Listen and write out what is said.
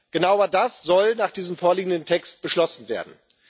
Genau das aber soll nach diesem vorliegenden Text beschlossen werden.